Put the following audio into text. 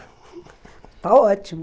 Está ótimo!